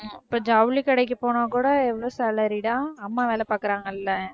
இப்ப ஜவுளி கடைக்கு போனா கூட எவ்வளவு salary டா அஹ் அம்மா வேலை பாக்குறாங்கல்ல